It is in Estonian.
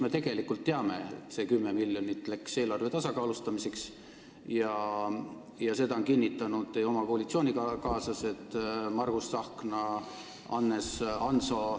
Me tegelikult teame, et see 10 miljonit läks eelarve tasakaalustamiseks, ja seda on kinnitanud teie oma koalitsioonikaaslased Margus Tsahkna, Hannes Hanso.